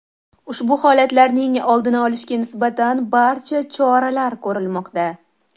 Ushbu holatlarni oldini olishga nisbatan barcha choralar ko‘rilmoqda.